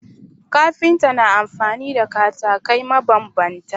Kafinta na amfani da katakai mabambanta